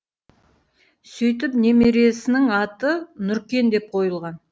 сөйтіп немересінің аты нұркен деп қойылған